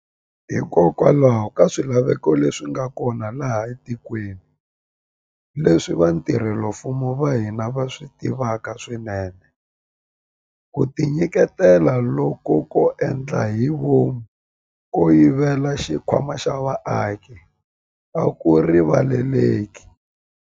Hikokwalaho ka swilaveko leswi nga kona laha etikweni, leswi vatirhela mfumo va hina va swi tivaka swinene, ku tinyiketela loku ko endla hi vomu ko yivela xikhwama xa vaaki a ku rivaleleki.